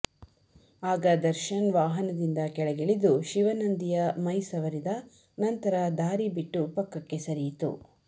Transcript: ಆಗ ದರ್ಶನ್ ವಾಹನದಿಂದ ಕೆಳಗಿಳಿದು ಶಿವನಂದಿಯ ಮೈ ಸವರಿದ ನಂತರ ದಾರಿ ಬಿಟ್ಟು ಪಕ್ಕಕ್ಕೆ ಸರಿಯಿತು